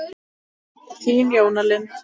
Þín Jóna Linda.